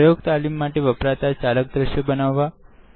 પ્રયોગ તાલીમ માટે વપરાતા ચાલક દ્રશ્યો બનવા